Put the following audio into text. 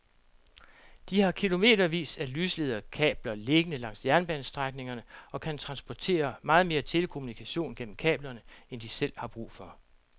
De har kilometervis af lyslederkabler liggende langs jernbanestrækningerne og kan transportere meget mere telekommunikation gennem kablerne end de selv har brug for.